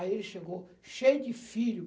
Aí ele chegou cheio de filho.